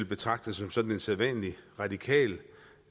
betragter som som en sædvanlig radikal